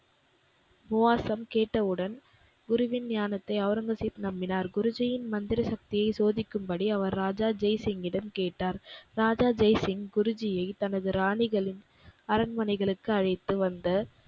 உவாசம் கேட்டவுடன் குருவின் ஞானத்தை ஒளரங்கசீப் நம்பினார். குருஜீயின் மந்திர சக்தியை சோதிக்கும்படி அவர் ராஜா ஜெய்சிங்கிடம் கேட்டார். ராஜா ஜெய்சிங் குருஜியை தனது ராணிகளின் அரண்மனைகளுக்கு அழைத்து வந்த,